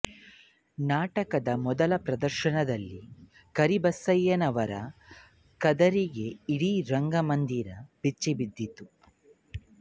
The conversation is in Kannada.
ನಾಟಕದ ಮೊದಲ ಪ್ರದರ್ಶನದಲ್ಲೇ ಕರಿಬಸವಯ್ಯನವರ ಖದರ್ರಿಗೆ ಇಡೀ ರಂಗಮಂದಿರ ಬೆಚ್ಚಿಬಿದ್ದಿತ್ತು